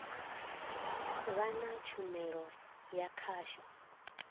vha na tshumelo ya khasho